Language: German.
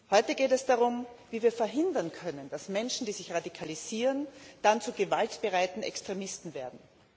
Heute geht es darum, wie wir verhindern können, dass Menschen, die sich radikalisieren, dann zu gewaltbereiten Extremisten werden.